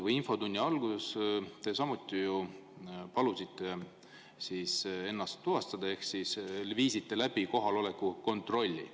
Infotunni alguses te samuti ju palusite ennast tuvastada ehk viisite läbi kohaloleku kontrolli.